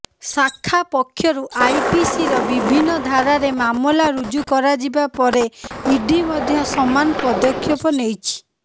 ଶାଖା ପକ୍ଷରୁ ଆଇପିସିର ବିଭିନ୍ନ ଧାରାରେ ମାମଲା ରୁଜୁ କରାଯିବା ପରେ ଇଡି ମଧ୍ୟ ସମାନ ପଦକ୍ଷେପ ନେଇଛି